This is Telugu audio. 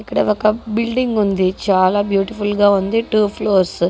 ఇక్కడ ఒక బిల్డింగ్ ఉంది.చాలా బ్యూటిఫుల్ గా ఉంది.టూ ఫ్లోర్స్ --